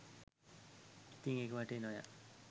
ඉතින් ඒක වටේ නොයා